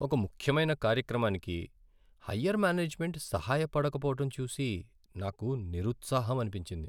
ఒక ముఖ్యమైన కార్యక్రమానికి హయ్యర్ మేనేజ్మెంట్ సహాయ పడకపోవడం చూసి నాకు నిరుత్సాహమనిపించింది.